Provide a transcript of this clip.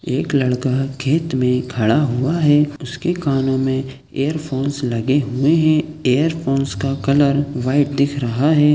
एक लड़का है खेत में खड़ा हुआ है उसके कानों में ईयरफोन्स लगे हुए है ईयरफोन्स का कलर वाइट दिख रहा है।